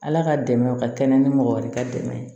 Ala ka dɛmɛ ka kɛnɛ ni mɔgɔ wɛrɛ ka dɛmɛ ye